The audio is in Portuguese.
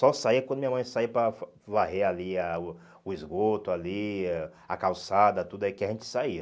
Só saía quando minha mãe saía para varrer ali a o o esgoto, ali a a calçada, tudo, aí que a gente saía.